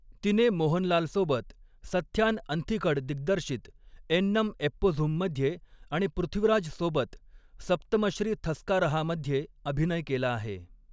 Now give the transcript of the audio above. तिने मोहनलाल सोबत सथ्यान अंथिकड दिग्दर्शित एन्नम एप्पोझुम मध्ये आणि पृथ्वीराज सोबत सप्तमश्री थस्कारहामध्ये अभिनय केला आहे.